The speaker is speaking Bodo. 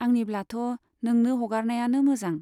आंनिब्लाथ' नोंनो हगारनायानो मोजां।